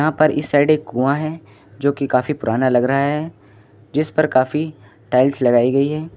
यहां पर इस साइड एक कुआं है जो की काफी पुराना लग रहा है जिस पर काफी टाइल्स लगाई गई है।